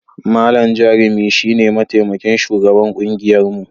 Malam Jarumi shi ne mataimakin shugaban kungiyarmu.